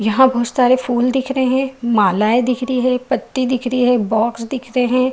यहाँ बोहोत सारे फुल दिख रहे हैं मालाएं दिख रही हैं पत्ती दिख रही है बॉक्स दिख रहे हैं।